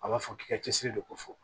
A b'a fɔ k'i ka cɛsiri de ko fɔ